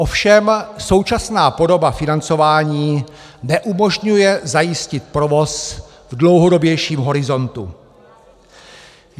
Ovšem současná podoba financování neumožňuje zajistit provoz v dlouhodobějším horizontu.